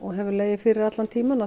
hefur legið fyrir allan tímann að